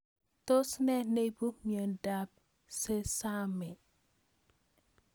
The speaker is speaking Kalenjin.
Tos nee neiparu miondop SeSAME